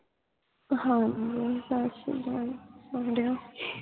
ਹਾਂ ਸਾਸ਼ਰੀਕਾਲ ਮੁੰਡਿਓ